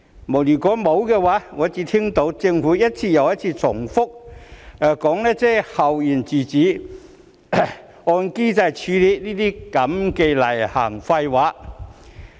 沒有，我只聽到政府一次又一次重複說"校園自主"、"按機制處理"這些例行廢話。